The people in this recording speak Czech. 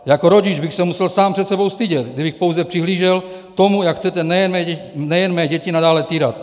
Jako rodič bych se musel sám před sebou stydět, kdybych pouze přihlížel tomu, jak chcete nejen mé děti nadále týrat.